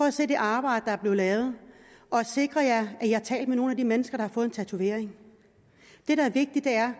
at se det arbejde der er blevet lavet og sikr jer at i har talt med nogle af de mennesker der har fået en tatovering det der er vigtigt er